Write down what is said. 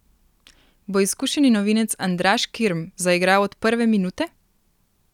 Bo izkušeni novinec Andraž Kirm zaigral od prve minute?